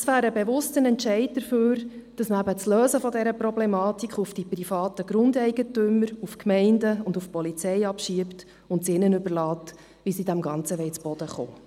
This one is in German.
Das wäre ein bewusster Entscheid dafür, dass man das Lösen dieser Problematik auf die privaten Grundeigentümer, auf die Gemeinden und auf die Polizei abschiebt und es ihnen überlässt, wie sie damit zurande kommen.